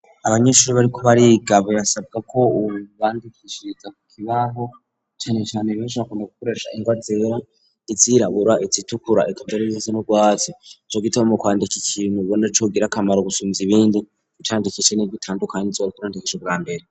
Abanyeshuri bari kuba ari igabo yasabwa ko ubbandikishiia kibaho cane chane ieshakune gukoresha indwazera izirabura ititukura ekaberizise no bwatsi co gitaba mo kwandika ikintu ibona cogira akamaro gusumiza ibindi icandikece n'irw itandukanye inzore kurantekesho bwa mbere.